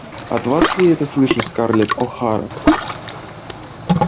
от вас ли я это слышу скарлетт охара